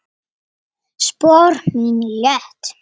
Spor mín létt.